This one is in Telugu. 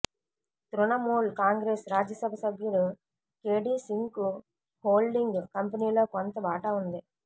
తృణమూల్ కాంగ్రెస్ రాజ్యసభ సభ్యుడు కెడి సింగ్కు హోల్డింగ్ కంపెనీలో కొంత వాటా ఉంది